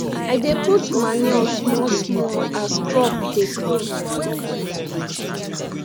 i dey put manure small small as crop dey grow